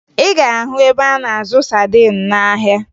Ị ga-ahụ ebe a na-azụ sadin n'ahịa